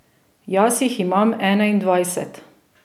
Jaz jih imam enaindvajset.